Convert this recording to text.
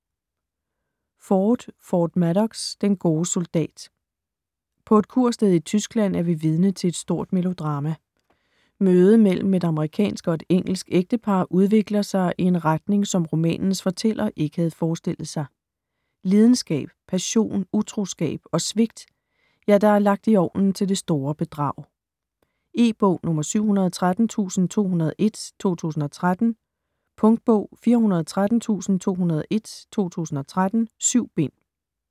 Ford, Ford Madox: Den gode soldat På et kursted i Tyskland er vi vidne til et stort melodrama. Mødet mellem et amerikansk og et engelsk ægtepar udvikler sig i en retning, som romanens fortæller ikke havde forestillet sig: Lidenskab, passion, utroskab, og svigt, ja, der er lagt i ovnen til det store bedrag. E-bog 713201 2013. Punktbog 413201 2013. 7 bind.